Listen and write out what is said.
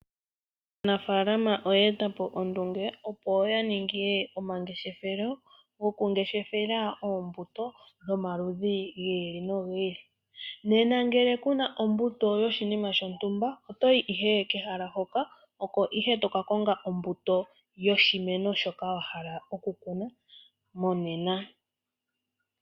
Aanafalama oya etapo ondunge yoku ninga omangeshefelo goku ngeshefela oombuto dhomaludhi gi ili nogi ili. Nena ngele kuna ombuto yoshinima shontumba, otoyi ihe kehala hoka, oko ihe toka konga ombuto yoshimeno shoka wa hala okukuna monena.